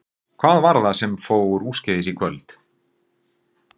Hvað var það sem fór úrskeiðis í kvöld?